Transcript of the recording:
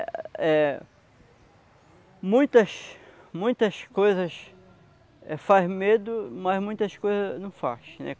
Eh... Muitas muitas coisas faz medo, mas muitas coisas não faz, né?